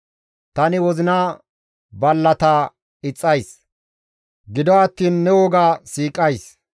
Tani wozina ballata ixxays; gido attiin ne woga siiqays.